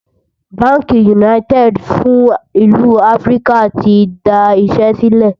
bánkì United fún ìlú áfríkà tí dá Iṣé sílè